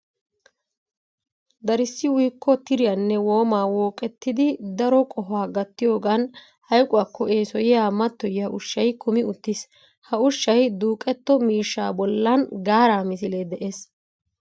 Darissi uyikko tiriya nne woomaa wooqettidi daro qohaa gattiyogan hayquwakko eesoyiya mattoyiya ushshay kumi uttiis. Ha ushshay duuqetto miishshaa bollan gaaraa misilee de'es.